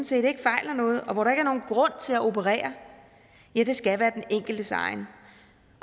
set ikke fejler noget og hvor der ikke er nogen grund til at operere skal være den enkeltes egen